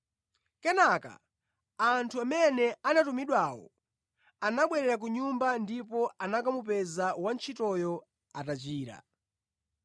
Kenaka anthu amene anatumidwawo anabwerera ku nyumba ndipo anakamupeza wantchitoyo atachira.